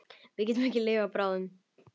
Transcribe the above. Við getum ekki lifað báðum.